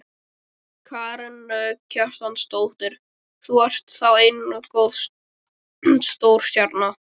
Karen Kjartansdóttir: Þú ert þá enn stórstjarna?